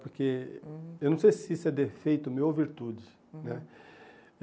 Porque, uhum, eu não sei se isso é defeito meu ou virtude, uhum, né.